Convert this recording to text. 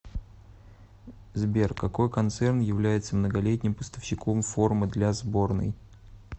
сбер какой концерн является многолетним поставщиком формы для сборной